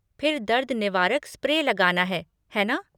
फिर दर्द निवारक स्प्रे लगाना है, है ना?